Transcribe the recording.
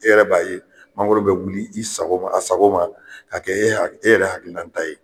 E yɛrɛ b'a ye mangoro be wuli i sago a sago ma ka kɛ e ha e yɛrɛ hakilinan ta ye